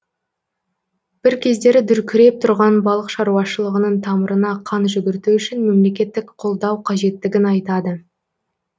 бір кездері дүркіреп тұрған балық шаруашылығының тамырына қан жүгірту үшін мемлекеттік қолдау қажеттігін айтады